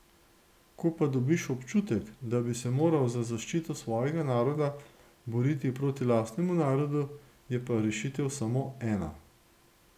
Ko pa dobiš občutek, da bi se moral za zaščito svojega naroda boriti proti lastnemu narodu, je pa rešitev samo ena.